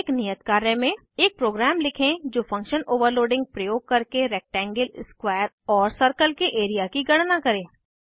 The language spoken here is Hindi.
एक नियत कार्य में एक प्रोग्राम लिखें जो फंक्शन ओवरलोडिंग उपयोग करके रेक्टेंगल स्क्वायर और सर्कल के एरिया की गणना करे